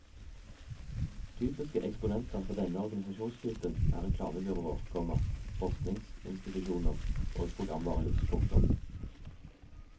Typiske eksponenter for denne organisasjonstypen er reklamebyråer, komma forskningsinstitusjoner og programvarehus. punktum